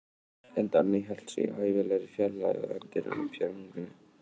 En Danni hélt sig í hæfilegri fjarlægð, og í endurminningunni varð honum þetta svartur dagur.